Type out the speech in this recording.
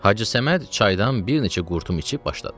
Hacı Səməd çaydan bir neçə qurtum içib başladı.